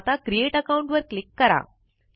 आता create account वर click करा